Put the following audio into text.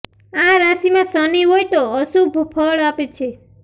આ રાશીમાં શનિ હોય તો અશુભ ફળ આપે છે